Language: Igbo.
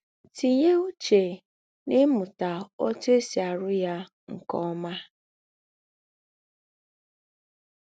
Tínye úchè n’ímụta òtú è sì àrụ́ yà nke ọ́má.